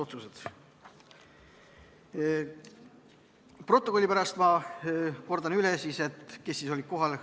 Stenogrammi pärast ma kordan üle, kes olid kohal.